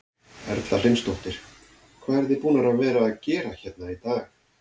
Erla Hlynsdóttir: Hvað eruð þið búnar að vera að gera hérna í dag?